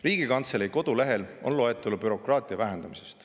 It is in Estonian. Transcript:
Riigikantselei kodulehel on loetelu bürokraatia vähendamisest.